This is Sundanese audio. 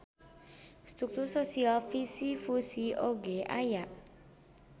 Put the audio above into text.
Struktur sosial fisi-fusi oge aya.